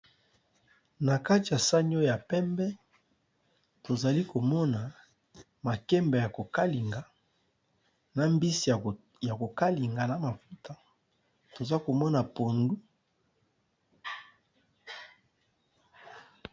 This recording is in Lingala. Na kati ya sagni oyo ya pembe tozali komona makembe ya kokalinga na mbisi ya kokalinga na mafuta toza komona pondu.